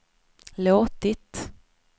låtit